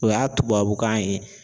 O y'a tubabukan ye.